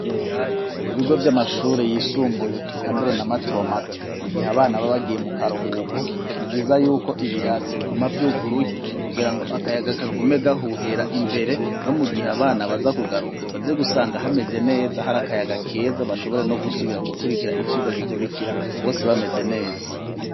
Ibigo vy'amashuri yisumbuye eka mbere n'amato mato mu gihe abana baba bagiye mu karuhuko, niviza yuko ibirasi biguma by'uguruye kugira ngo akayaga kagume gahuhera imbere, no mu gihe abana baza kugaruka baze gusanga hameze neza hari akayaga keza, bashobore no gusubira gukurikira icigwa gikurikira bose bameze neza.